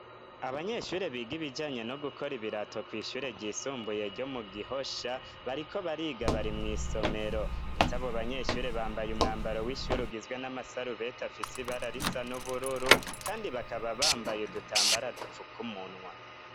Abanyeshure biga ibijanye no gukora ibirato kw'ishure ry'isumbuye ryo mu Gihosha, bariko bariga bari mw'isomero ndetse abo banyeshure bambaye umwambaro w'ishuri ugizwe n'amasarubeti afise ibara risa n'ubururu kandi bakaba bambaye udutambara dupfaka umunwa.